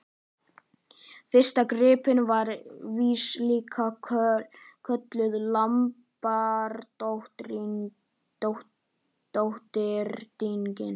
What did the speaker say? Fyrsta gimbrin var víst líka kölluð lambadrottning.